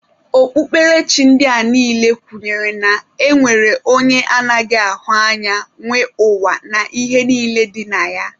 Okpukperechi ndị a niile kwenyere na e nwere onye anaghị ahụ anya nwe ụwa na ihe niile dị na ya